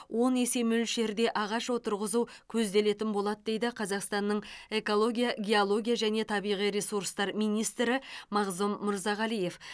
он есе мөлшерде ағаш отырғызу көзделетін болады дейді қазақстанның экология геология және табиғи ресурстар министрі мағзұм мырзағалиев